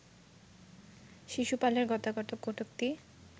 শিশুপালের গোটাকতক কটূক্তি